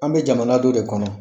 An be jamana dɔ de kɔnɔ.